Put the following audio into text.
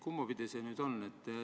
Kumba pidi see on?